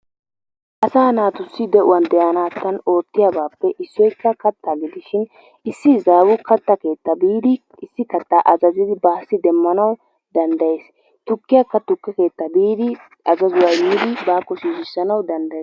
asaa naatussi de'uwaan de'anattan oottiyaabappe issoy kattaa gidishin issi izaawu kattaa keetta biidi issi kattaa azazzidi baassi demmanaw danddayees. tukkiyakka tukke keettaa biidi azazzuwa immidi baakko shiishanaw danddayees.